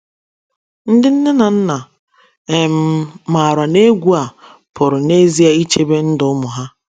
Ndị nne na nna um maara na egwu a pụrụ n’ezie ichebe ndụ ụmụ ha.